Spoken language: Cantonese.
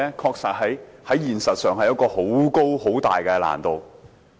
現實上確實存在十分大的難度。